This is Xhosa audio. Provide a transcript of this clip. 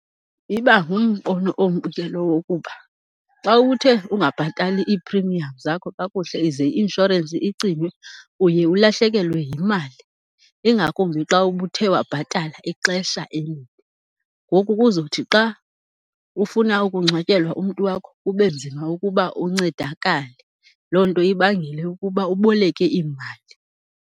Iba ngumbono ombi ke lowo ukuba xa uthe ungabhatali i-premiums zakho kakuhle ize i-inshorensi icinywe, uye ulahlekelwe yimali. Ingakumbi xa ubuthe wabhatala ixesha elide. Ngoku kuzothi xa ufuna ukungcwatyelwa umntu wakho, kube nzima ukuba uncedakale. Loo nto ibangele ukuba uboleke iimali.